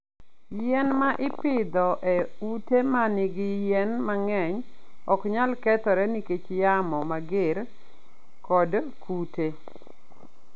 Yien ma ipidho e ute ma nigi yien mang'eny ok nyal kethore nikech yamo mager kod kute.